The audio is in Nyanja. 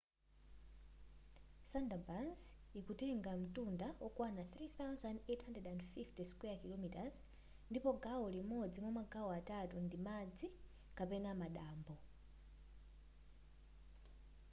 sundarbans ikutenga mtunda okwana 3,850 km² ndipo gawo limodzi mwamagawo atatu ndi madzi kapena madambo